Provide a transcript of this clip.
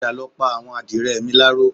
Padà lọ pa àwọn àdìrẹ mi láró